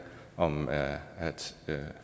om at